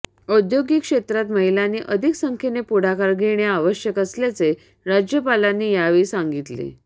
औद्योगिक क्षेत्रात महिलांनी अधिक संख्येने पुढाकार घेणे आवश्यक असल्याचे राज्यपालांनी यावेळी सांगितले